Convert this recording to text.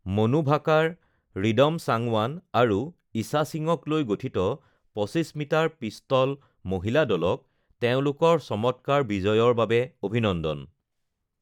মনু ভাকাৰ, ৰিদম চাংৱান আৰু ঈষা সিঙক লৈ গঠিত ২৫ মিটাৰ পিষ্টল মহিলা দলক তেওঁলোকৰ চমৎকাৰ বিজয়ৰ বাবে অভিনন্দন!